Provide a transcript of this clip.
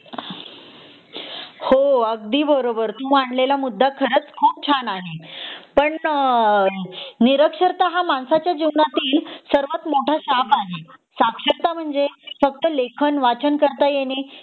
हो अगदी बरोबर तू मांडलेला मुद्दा अगदी बरोबर आहे पण अ निरक्षरता हा माणसाच्या जीवनातील सर्वात मोठा शाप आहे साक्षरता म्हणजे फक्त लेखन वाचन करता येणे